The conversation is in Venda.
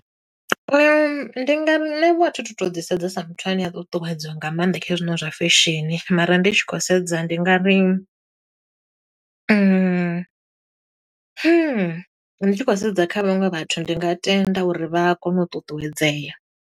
Ndi ngari, nṋe vho a thi tu to ḓi sedza sa muthu ane a ṱuṱuwedzwa nga maanḓa kha hezwinoni zwa fesheni. Mara ndi tshi khou sedza ndi nga ri , ndi tshi khou sedza kha vhaṅwe vhathu, ndi nga tenda uri vha a kona u ṱuṱuwedzea.